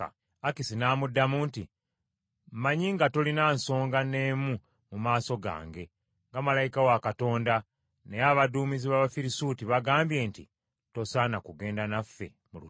Akisi n’amuddamu nti, “Mmanyi nga tolina nsonga n’emu mu maaso gange nga malayika wa Katonda, naye abaduumizi b’Abafirisuuti bagambye nti, ‘Tosaana kugenda naffe mu lutalo.’